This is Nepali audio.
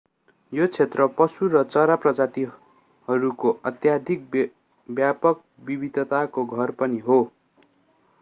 यो क्षेत्र पशु र चरा प्रजातिहरूको अत्यधिक व्यापक विविधताको घर पनि हो